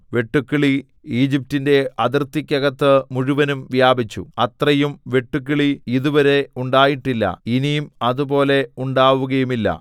വെട്ടുക്കിളി ഈജിപ്റ്റിന്റെ അതിർക്കകത്ത് മുഴുവനും വ്യാപിച്ചു അത്രയും വെട്ടുക്കിളി ഇതുവരെ ഉണ്ടായിട്ടില്ല ഇനി അതുപോലെ ഉണ്ടാവുകയുമില്ല